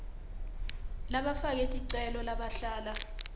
labafake ticelo labahlala